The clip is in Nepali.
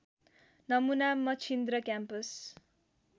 नमुना मछिन्द्र क्याम्पस